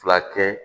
Fila kɛ